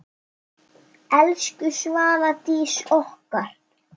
Elsku Svala Dís okkar.